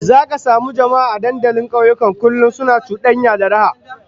Zaka samu jama'a a dandalin kauyuka kullum suna cudanya da raha